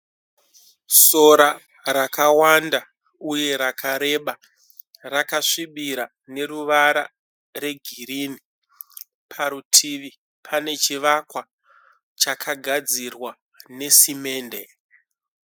Sora rakawanda uye rakareba, rakasvibira neruvara regirini. Parutivi pane chivakwa chakagadzirwa nesimende.